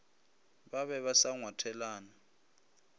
ba be ba sa ngwathelane